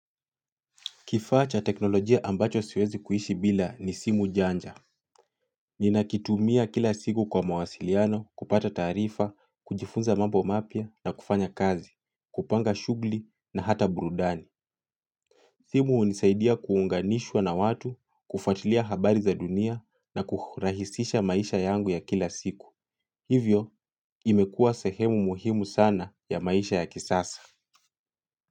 Kifaa cha teknolojia ambacho siwezi kuishi bila ni simu janja. Ninakitumia kila siku kwa mawasiliano, kupata taarifa, kujifunza mambo mapya na kufanya kazi, kupanga shughuli na hata burudani. Simu hunisaidia kuunganishwa na watu, kufuatilia habari za dunia na kurahisisha maisha yangu ya kila siku. Hivyo imekuwa sehemu muhimu sana ya maisha ya kisasa.